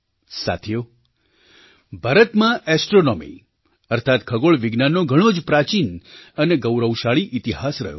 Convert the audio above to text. સાથીઓ ભારતમાં ઍસ્ટ્રૉનૉમી અર્થાત ખગોળ વિજ્ઞાનનો ઘણો જ પ્રાચીન અને ગૌરવશાળી ઇતિહાસ રહ્યો છે